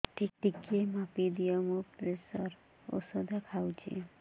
ଟିକେ ମାପିଦିଅ ମୁଁ ପ୍ରେସର ଔଷଧ ଖାଉଚି